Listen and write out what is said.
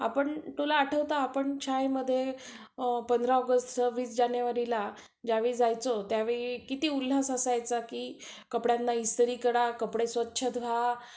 आपण, तुला आठवतं, आपण शाळेमध्ये, पंधरा ऑगस्ट सव्वीस जानेवारीला, ज्यावेळी जायचो त्यावेळी किती उल्हास असायचा. कि कपड्यांना इस्त्री करा, कपडे स्वच्छ धुवा.